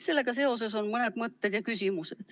Sellega seoses on mõned mõtted ja küsimused.